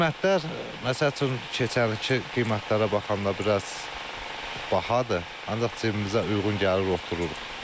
Qiymətlər məsəl üçün keçən ilki qiymətlərə baxanda biraz bahadır, ancaq cibimizə uyğun gəlir, otururuq.